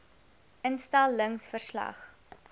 instel lings verslag